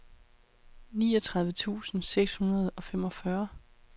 niogtredive tusind seks hundrede og femogfyrre